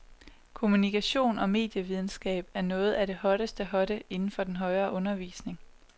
Kommunikation og medievidenskab er noget af det hotteste hotte inden for den højere undervisning.